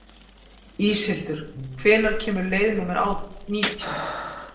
Íshildur, hvenær kemur leið númer nítján?